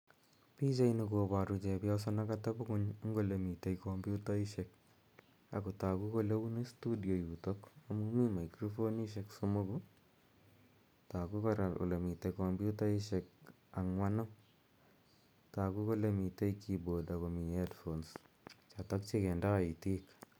Pichani koparu chepyoso ne katepi ng'uny eng' ole mitei kompyutaishek ako tagu kole uni studio yutok amu mitei microfonishek somoku ako tagu kora kole mitei kompyutaishek ang'wanu. Tagu kole mitei keyboard ako mitei headphones chotok che kindai itik.